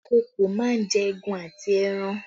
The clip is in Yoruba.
Ìkokò máa ń jẹ egun àti ẹran